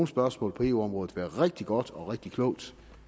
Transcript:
spørgsmål på eu området være rigtig godt og rigtig klogt